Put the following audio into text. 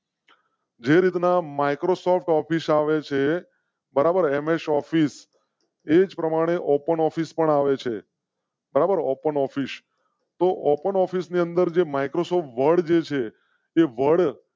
જે રીતના Microsoft office આવે છે. બરાબર એમએસ ઓફિસ એજ પ્રમાણે ઓપન ઓફિસે પણ આવે છે બરાબર ઓપન ઓફિસે તોહ ઓપન ઓફિસે ની અંદર જે માઇક્રોસોફ્ટ વર્ડ જે છે તે વર્ડ